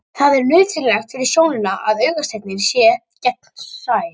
Það er nauðsynlegt fyrir sjónina að augasteininn sé gegnsær.